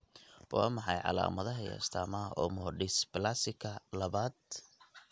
Waa maxay calaamadaha iyo astaamaha Omodysplasika labaad?